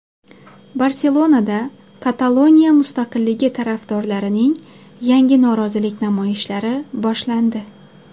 Barselonada Kataloniya mustaqilligi tarafdorlarining yangi norozilik namoyishlari boshlandi.